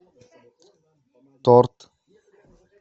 торт